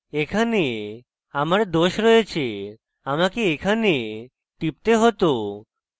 এখানে আমার দোষ রয়েছে আমাকে এখানে টিপতে হতো